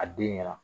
A den ɲɛna